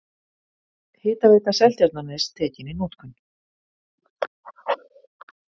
Hitaveita Seltjarnarness tekin í notkun.